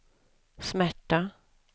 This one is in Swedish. smärta